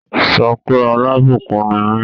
Say I am a blessing!